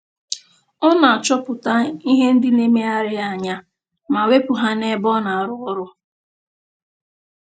Ọ na-achọpụta ihe ndị na-emegharị ya anya ma wepụ ha n'ebe ọ na-arụ ọrụ